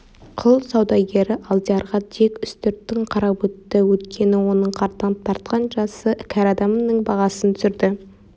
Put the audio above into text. құл саудагері алдиярға тек үстіртін қарап өтті өйткені оның қартаң тартқан жасы кәрі адамның бағасын түсірді